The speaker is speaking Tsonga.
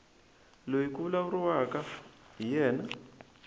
loyi ku vulavuriwaka hi yena